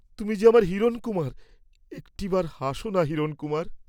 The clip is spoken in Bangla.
তুমি যে আমার হিরণকুমাব, একটিবার হাস না হিরণকুমার।